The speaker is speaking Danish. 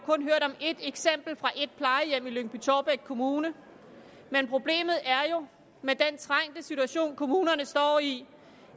et eksempel fra et plejehjem i lyngby taarbæk kommune men problemet er jo med den trængte situation kommunerne står i